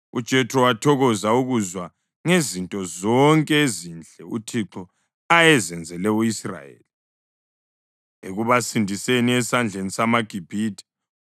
UJethro wathokoza ukuzwa ngezinto zonke ezinhle uThixo ayezenzele u-Israyeli ekubasindiseni esandleni samaGibhithe.